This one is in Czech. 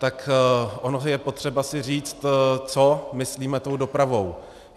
Tak ono je potřeba si říct, co myslíme tou dopravou.